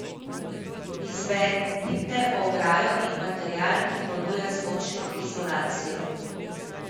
Izberite ograjo in material, ki ponuja zvočno izolacijo.